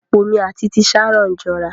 Apó mi at ti Sharon jọra.